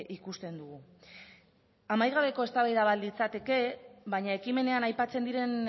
ikusten dugu amaigabeko eztabaida bat litzateke baina ekimenean aipatzen diren